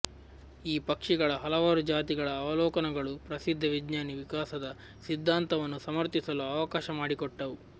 ಈ ಪಕ್ಷಿಗಳ ಹಲವಾರು ಜಾತಿಗಳ ಅವಲೋಕನಗಳು ಪ್ರಸಿದ್ಧ ವಿಜ್ಞಾನಿ ವಿಕಾಸದ ಸಿದ್ಧಾಂತವನ್ನು ಸಮರ್ಥಿಸಲು ಅವಕಾಶ ಮಾಡಿಕೊಟ್ಟವು